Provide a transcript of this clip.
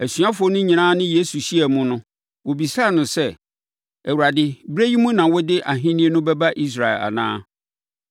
Asuafoɔ no nyinaa ne Yesu hyiaa mu no, wɔbisaa no sɛ, “Awurade, berɛ yi mu na wode ahennie no bɛba Israel anaa?”